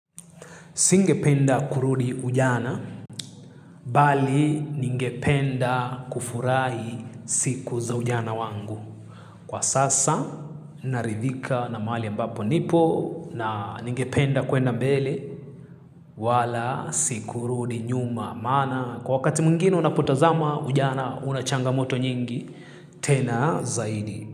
Singependa kurudi ujana, bali ningependa kufurahi siku za ujana wangu. Kwa sasa, naridhika na mahali ambapo nipo, na ningependa kuenda mbele, wala si kurudi nyuma. Maana, kwa wakati mwingine unapotazama, ujana una changamoto nyingi, tena zaidi.